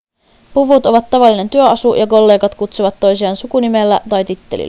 puvut ovat tavallinen työasu ja kollegat kutsuvat toisiaan sukunimellä tai tittelillä